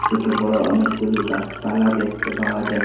দুটো বড় অনেকগুলো গাছপালা দেখতে পাওয়া যা--